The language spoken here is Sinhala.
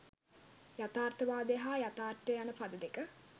යථාර්ථවාදය හා යථාර්ථය යන පද දෙක